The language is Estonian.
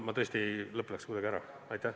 Mul tõesti lõpp kadus kuidagi ära.